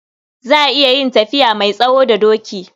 Za a iya yin tafiya mai tsawo da doki.